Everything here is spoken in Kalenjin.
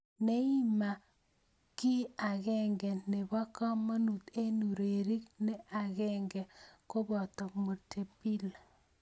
Neymar o ki akenge ne bo komonut eng urerie ne ang'er koboto Montepillir.